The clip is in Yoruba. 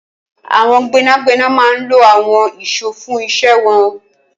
Awọn gbẹnágbẹná mà n ló awọn iṣó fùn iṣè wọn